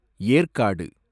Yercaud